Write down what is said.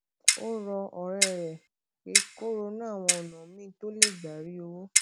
ó rọ òré rè pé kó ronú àwọn ònà míì tó lè gbà rí owó